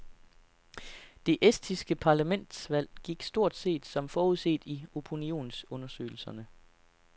Det estiske parlamentsvalg gik stort set som forudset i opinionsundersøgelserne.